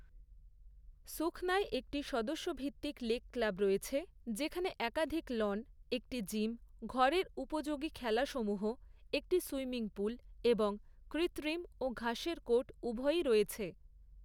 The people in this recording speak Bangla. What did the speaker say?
সুখনায় একটি সদস্য ভিত্তিক লেক ক্লাব রয়েছে যেখানে একাধিক লন, একটি জিম, ঘরের উপযোগী খেলাসমূহ, একটি সুইমিং পুল এবং কৃত্রিম ও ঘাসের কোর্ট উভয়ই রয়েছে।